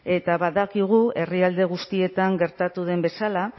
eta badakigu herrialde guztietan gertatu den bezala